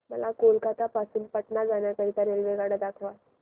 मला कोलकता पासून पटणा जाण्या करीता रेल्वेगाड्या दाखवा